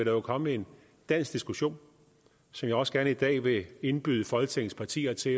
jo komme en dansk diskussion som jeg også gerne i dag vil indbyde folketingets partier til